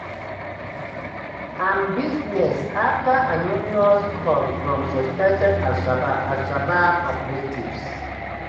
im business afta anonymous call from suspected al-shabab al-shabab operatives.